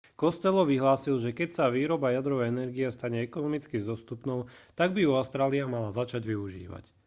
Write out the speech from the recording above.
costello vyhlásil že keď sa výroba jadrovej energie stane ekonomicky dostupnou tak by ju austrália mala začať využívať